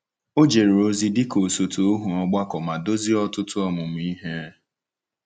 O jere ozi dị ka osote ohu ọgbakọ ma duzie ọtụtụ ọmụmụ ihe.